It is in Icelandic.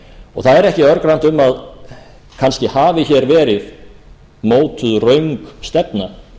og það er ekki örgrannt um að kannski hafi hér verið mótuð röng stefna